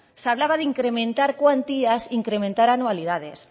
se hablaba de incrementar cuantías incrementar anualidades